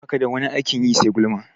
Baka da wani aikin yi sai gulma?